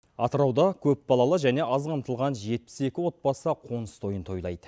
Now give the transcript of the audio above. атырауда көпбалалы және аз қамтылған жетпіс екі отбасы қоныс тойын тойлайды